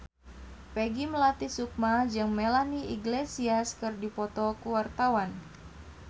Peggy Melati Sukma jeung Melanie Iglesias keur dipoto ku wartawan